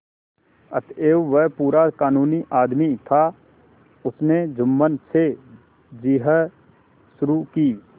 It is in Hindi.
अतएव वह पूरा कानूनी आदमी था उसने जुम्मन से जिरह शुरू की